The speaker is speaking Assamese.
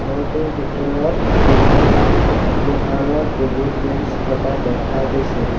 ঘৰটোৰ ভিতৰত কেখনমান লোহাৰৰ টেবুল বেঞ্চ থকা দেখা গৈছে।